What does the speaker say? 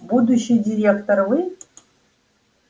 будущий директор вы